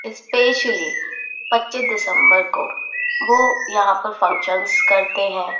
Especially पच्चीस दिसम्बर को वो यहाँ पर फंक्शन्स करते हैं।